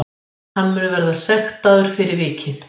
Hann mun verða sektaður fyrir vikið